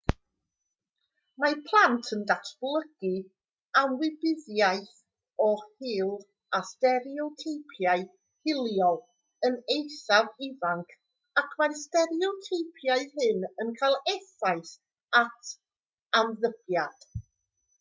mae plant yn datblygu ymwybyddiaeth o hil a stereoteipiau hiliol yn eithaf ifanc ac mae'r stereoteipiau hyn yn cael effaith ar ymddygiad